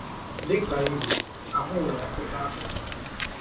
Dị ka igwe, ahụ nwere ọtụtụ akụkụ.